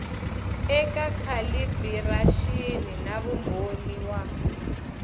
eka calibiraxini na vumbhoni wa